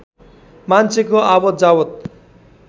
मान्छेको आवात जावत